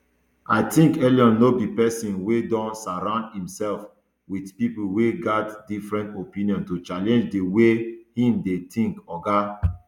i tink elon no be pesin wey don surround imserf wit pipo wey gat different opinion to challenge di way im dey tink oga